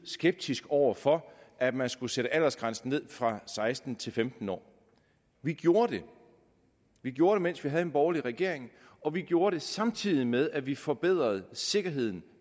skeptiske over for at man skulle sætte aldersgrænsen ned fra seksten til femten år vi gjorde det vi gjorde det mens vi havde en borgerlig regering og vi gjorde det samtidig med at vi forbedrede sikkerheden